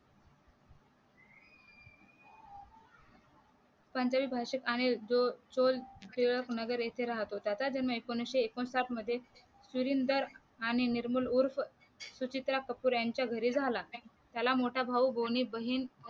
वंजाली भाषेत अनिल जो जो जो टिळक नगर येथे राहत होता त्याचा जन्म एकोणविशे एकोणसाठ मध्ये मिरिंदर आणि निर्मूळ उर्फ सुचित्रा कपूर यांच्या घरी झाला त्याला मोठा भाऊ आणि दोन्ही बाहीन